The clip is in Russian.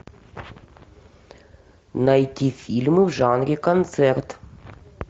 найти фильмы в жанре концерт